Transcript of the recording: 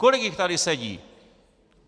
Kolik jich tady sedí?